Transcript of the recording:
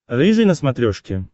рыжий на смотрешке